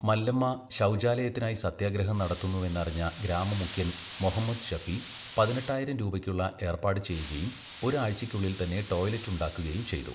മല്ലമ്മ ശൗചാലയത്തിനായി സത്യാഗ്രഹം നടത്തുന്നുവെന്നറിഞ്ഞ ഗ്രാമ മുഖ്യന് മൊഹമ്മദ് ശഫി പതിനെട്ടായിരം രൂപയ്ക്കുള്ള ഏര്പ്പാട് ചെയ്യുകയും ഒരു ആഴ്ചയ്ക്കുള്ളില് തന്നെ ടോയ്ലറ്റ് ഉണ്ടാക്കുകയും ചെയ്തു.